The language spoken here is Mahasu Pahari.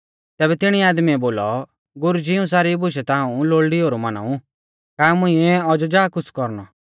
तैबै तिणी आदमीऐ बोलौ गुरुजी इऊं सारी बुशै ता हाऊं लोल़डी ओउलै मानाऊं का मुंइऐ औज़ौ जा कुछ़ कौरणौ